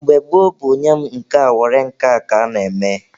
Mgbe gboo bụ nye mụ nke a were nke a ka a na-eme.